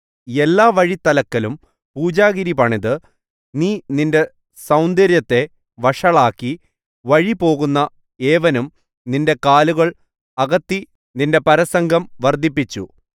എല്ലാ വഴിത്തലക്കലും പൂജാഗിരി പണിത് നീ നിന്റെ സൗന്ദര്യത്തെ വഷളാക്കി വഴിപോകുന്ന ഏവനും നിന്റെ കാലുകൾ അകത്തി നിന്റെ പരസംഗം വർദ്ധിപ്പിച്ചു